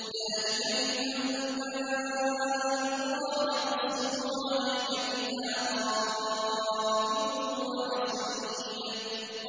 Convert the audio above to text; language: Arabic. ذَٰلِكَ مِنْ أَنبَاءِ الْقُرَىٰ نَقُصُّهُ عَلَيْكَ ۖ مِنْهَا قَائِمٌ وَحَصِيدٌ